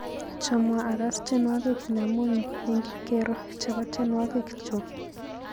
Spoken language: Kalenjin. Chamwa akas tyenwokik nyamuny eng kipkero chebo tyenwokik chu.